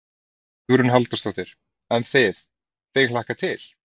Hugrún Halldórsdóttir: En þið, þig hlakkar til?